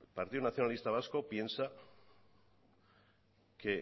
el partido nacionalista vasco piensa que